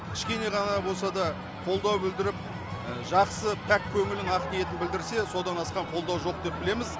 кішкене ғана да қолдау білдіріп жақсы пәк көңілін ақ ниетін білдірсе содан асқан қолдау жоқ деп білеміз